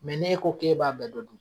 n' e ko k'e b'a bɛɛ dɔ dun?